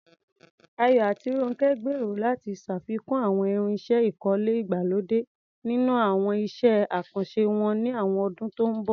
Ayo àti Ronke gbèrò láti ṣàfikún àwọn irinṣẹ́ ìkọ́lé ìgbàlódé nínú àwọn iṣẹ́ àkànṣe wọn ní àwọn ọdún tó ń bọ̀.